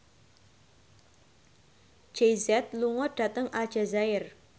Jay Z lunga dhateng Aljazair